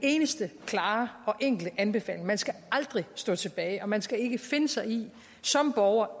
eneste klare og enkle anbefaling man skal aldrig stå tilbage og man skal ikke finde sig i som borger